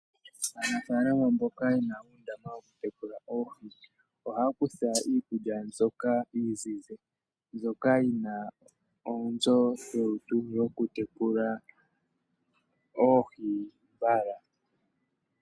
Aanafalama mboka yena uundama woku tekula oohi oha kutha iikulya mbyoka iizizi mbyoka yina oonzo dholutu yoku tekula oohi mbala.